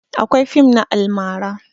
Akwai fim na almara